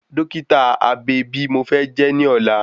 Dọ́kítà abe bi mo fẹ́ jẹ́ ní ọ̀la